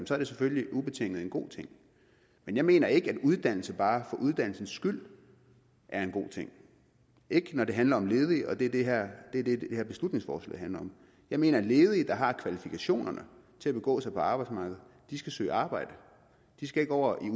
så er det selvfølgelig ubetinget en god ting men jeg mener ikke at uddannelse bare for uddannelsens skyld er en god ting ikke når det handler om ledige og det er det det her beslutningsforslag handler om jeg mener at ledige der har kvalifikationerne til at begå sig på arbejdsmarkedet skal søge arbejde de skal ikke over i